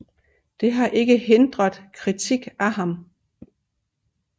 Det har ikke hindret kritik af ham